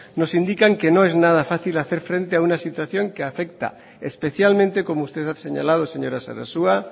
nos indican que no es nada fácil hacer frente a una situación que afecta especialmente como usted ha señalado señora sarasua